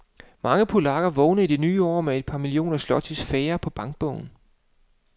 Mange polakker vågnede i det nye år med et par millioner zlotys færre på bankbogen.